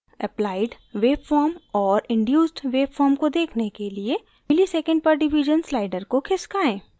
applied waveform और induced waveform को देखने के लिए msec/div slider को खिसकाएँ